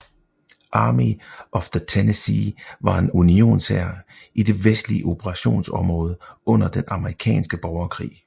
Army of the Tennessee var en unionshær i det vestlige operationsområde under den amerikanske borgerkrig